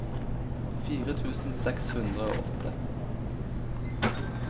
fire tusen seks hundre og åtte